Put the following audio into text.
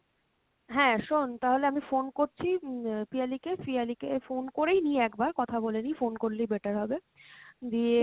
হ্যাঁ শোন তাহলে আমি phone করছি উম পিয়ালি কে, পিয়ালি কে phone করেই নি একবার কথা বলে নি, phone করলেই better হবে, দিয়ে